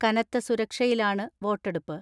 കനത്ത സുരക്ഷയിലാണ് വോട്ടെടുപ്പ്.